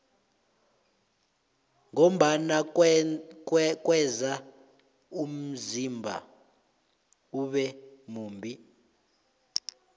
ngombana kweza umzimba ube mumbi